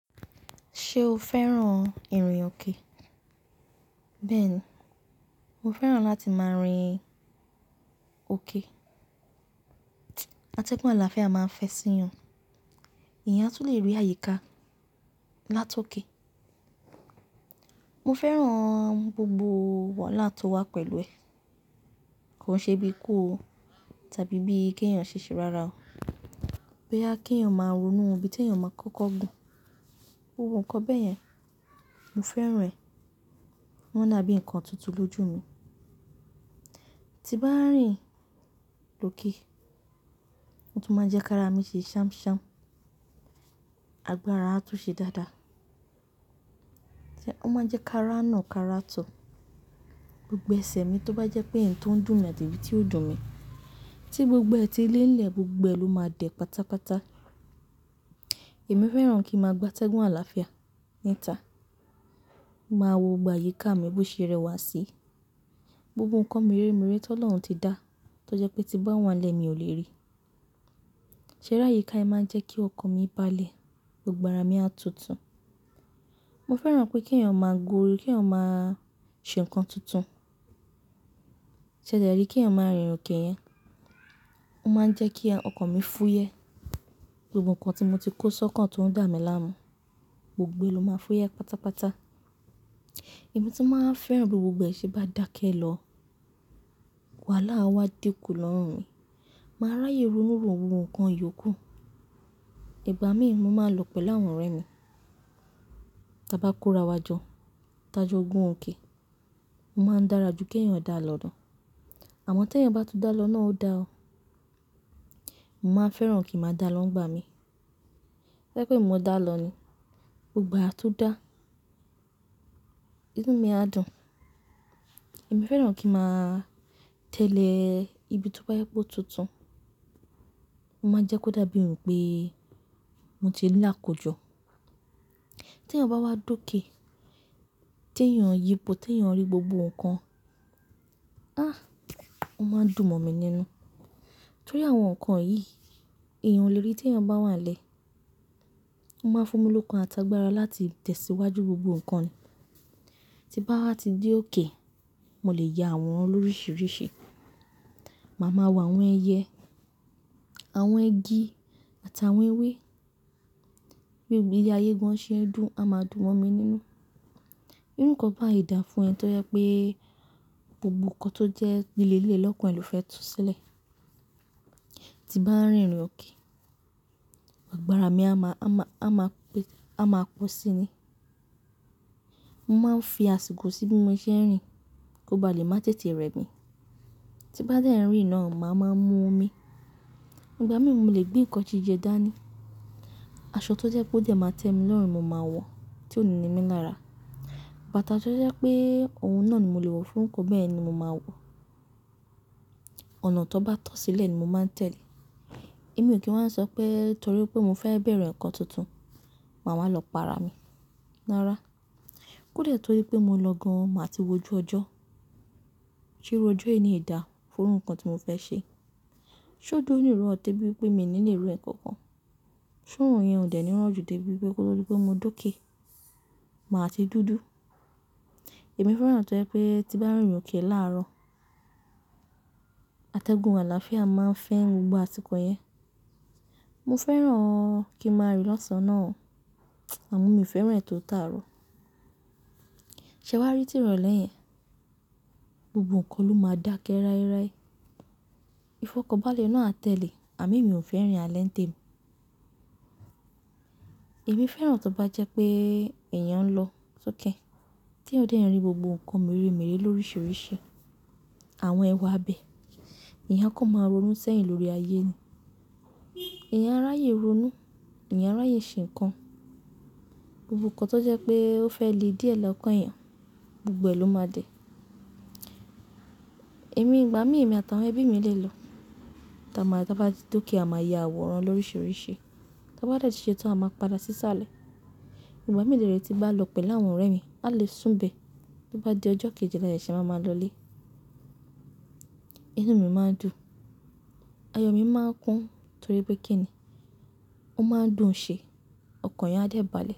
Ṣe o fẹ́ràn ìrìn òkè? Bẹ́ẹ̀ni, mo fẹ́ràn láti máa rìn òkè. Atẹ́gùn àlàáfíà máa ń fẹ́ sí yan. Ìyẹn a tún lè rí àyíká láti òkè. Mo fẹ́ràn gbogbo wàhálà tó wá pẹ̀lú ẹ̀. Kò ṣe bí ikú o, tàbí bí kí èèyàn ṣiṣe rárá o. Boya kí èèyàn máa ronú, ibí ti èèyàn máa kọ́kọ́ gùn. Ohun nǹkan bẹ́ẹ̀ yẹn, mo fẹ́ràn rẹ̀. Wọ́n dàbí nǹkan tuntun lójú mi. Ti bá rìn lòkè, ó tún máa ń jẹ́ kí ara mi ṣe ṣamṣam, àgbára a tún ṣe dáadáa. Ṣé ó máa ń jẹ́ ká ránà ká rátò. Gbogbo ẹsẹ̀ mi tó bá jẹ́ pé eyi tó ń dùn mi ati eyi tí ó dùn mi. Ti gbogbo ẹti lelẹ̀ gbogbo ẹ ló máa dẹ́ pátápátá. Èmi fẹ́ràn kí ń máa gbà atẹ́gùn àlàáfíà níta. Mo máa wo gbogbo àyíká mi bó ṣe rẹwà sí. Gbogbo nǹkan mìré mìré ti Ọlọ́run ti dá, tó jẹ́ pé ti bá wà nilẹ́ mi ò lè rí. Ṣé ri áyika yen máa ń jẹ́ kí ọkàn mi bá lè, gbogbo àrà mi a tutù. Mo fẹ́ràn pé kí èèyàn máa gùúru, kí èèyàn máa ṣe nǹkan tuntun. Ṣẹ̀de rí kí èèyàn máa rìn òkè yẹn, ó máa ń jẹ́ kí ọkàn mi fúyẹ́. Gbogbo nǹkan tí mo ti kó sọ́kàn tó ń dà mí láàmú, gbogbo e ló máa fúyẹ́ pátápátá. Èmi tun máa ń fẹ́ràn bí gbogbo ẹ ṣe má dákẹ́ lọ, wàhálà á wá dinkù lọ́rùn mi. Màá ráyè ronú ró ohun kan yòókù. Ìgbà mí ì mo máa lọ pẹ̀lú àwọn ọ̀rẹ́ mi. Taa bá kó ra wá jọ, tá jọ gun òkè. Mo máa ń dára ju kí èèyàn dá lọ̀dọ̀. Àmọ́ tí èèyàn bá tu dá lọ náà ó dá o. Mo máa fẹ́ràn kí n máa dá lọ́ gbà mí. Tobaje pe emi mò dá lọ ni, gbogbo àá tú dá. Inú mi a dùn. Èmi fẹ́ràn kí màá tẹ̀lé ibi tó bá yẹ pe o tuntun. Ó máa jẹ́ kó dàbí ń pé mo ti ní àkòjọ. Tí èèyàn bá wá dóké, tí èèyàn yípo, tí èèyàn rí gbogbo nǹkan. Ah! Ó máa ń dùn mọ̀ mi nínú. Torí àwọn nǹkan yìí, èèyàn o lè rí tí èèyàn bá wà nlẹ́. Ó máa fún mi lókùn àtàgbàrà láti tẹ̀síwájú gbogbo nǹkan. Ti bá wá ti dé òkè, mo lè ya àworàn lórísìírísìí. Màá ma wà àwọn ẹyẹ, àwọn igi àtàwọn ewé. Bí i ilé ayé gan an ṣe ń dùn, a máa dùn mọ̀ mí nínú. Irú nǹkan bá ì dá fún ẹni tó jẹ́ pé gbogbo nǹkan tó jẹ́ nílé ilé lọ́kùnrin lò fẹ́ tún sílẹ̀. Ti bá rìn ìrìn òkè, àgbàrà mi a máa, a máa, a máa pe, a máa pọ̀ sí i ni. Mo máa ń fi àsìkò sí bí mo ṣe ń rìn, kó bá lè má tètè rẹ́ mi. Ti bá dé rinà, màá máa mú omi. Ìgbà mí ì mo lè gbé nǹkan jijẹ dání. Aṣọ tó jẹ́ pe odẹ máa tẹ́ mi lọ́rùn, mo máa wọ, tí ó ní ní mi lára. Bàtà tó jẹ́ pé òun náà ni mo lè wọ fún nǹkan bẹ́ẹ̀ ni mo máa wọ. Ọ̀nà tó bá tọ́ sílẹ̀ ni mo máa ń tẹ̀lé. Èmi ò kí ń wá sọ pé torí pé mo fẹ́ bẹ̀re nǹkan tuntun, màá wáa lọ para mi. Rárá. Kóde torí pé mo lọ gan an, màá ti wojú ọjọ́. Ti irú ọjọ́ eni dá fún ohun kan tí mo fẹ́ ṣe. Ṣé ojo ò ní rọ̀ ó tẹ́ bí i pé mi nílẹ̀ rí nǹkan kan? Ṣé òrun yẹn ò dẹ́ ni ran jù debí i pé kó tó di pe mo doké, màá ti dúdú? Èmi fẹ́ràn tó jẹ́ pé tí bá rìn òkè láàárọ̀, atẹ́gùn àlàáfíà máa ń fẹ́ gbogbo àsìkò yẹn. Mo fẹ́ràn kí màá rìn lọ́san náà o. Àmọ́ mi ò fẹ́ràn ètò tààrọ̀. Ṣé wà á rí tí ìrọ̀lẹ́ yẹn? Gbogbo nǹkan ló máa dákẹ́ ráírái. Ifọ̀kọ̀bálẹ̀ náà á tẹ̀lé, àmí mi ò fẹ́ràn alé ntemi. Èmi fẹ́ràn tó bá jẹ́ pé èèyàn ń lọ sókè, tí ó dé rí gbogbo nǹkan mìré mìré lórísìírísìí. Àwọn ẹwà abẹ̀. Ìyan a kó máa ronú sẹ́yìn lórí ayé ni. Ìyẹn a ráyè ronú, ìyẹn a ráyè ṣe nǹkan. Gbogbo nǹkan tó jẹ́ pé ó fẹ́ le díẹ̀ lọ́kàn èèyàn, gbogbo ẹ ló máa dẹ. Èmi ìgbà mí ì èmi àtàwọn ẹbí mi lè lọ. Taa má, tá bá ti doké a máa yà àwòrán lórísìírísìí. Tá bá dà de ti ṣe tán, a máa padà sí sálẹ̀. Ìgbà mí lè ti bá lọ pẹ̀lú àwọn ọ̀rẹ́ mi, a lè sùn bé. Bo bá di ọjọ́ kejì làsẹ́, ṣe a máa máa lọlé. Inú mi máa ń dùn. Ayo mi máa ń kún torí pé kí ni? Ó máa ń dùn ṣe. Ọkàn ìyan á dẹ̀ bá lè.